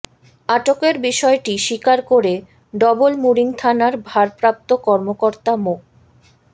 আটকের বিষয়টি স্বীকার করে ডবলমুরিং থানার ভারপ্রাপ্ত কর্মকর্তা মো